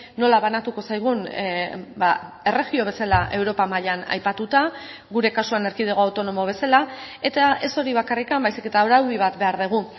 nola banatuko zaigun erregio bezala europa mailan aipatuta gure kasuan erkidego autonomo bezala eta ez hori bakarrik baizik eta araudi bat behar dugu